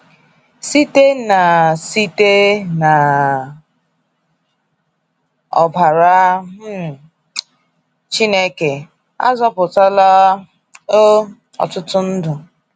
Site na Site na ọbara um Chineke, azọputala um ọtụtụ ndụ.